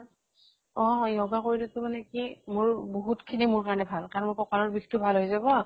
অ yoga কৰিলেতো মানে কি মোৰ বহুত খিনি মোৰ কাৰণে ভাল । কাৰণ মোৰ ককালৰ বিষ খিনি ভাল হৈ যাব